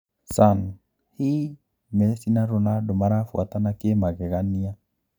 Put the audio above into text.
(Sun) Hii Messi na Ronaldo marafuatana ki magegania?